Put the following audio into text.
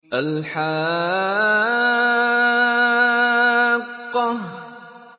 الْحَاقَّةُ